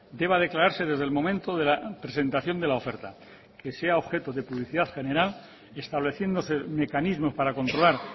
deba declararse desde el momento de la presentación de la oferta que sea objeto de publicidad general estableciéndose mecanismos para controlar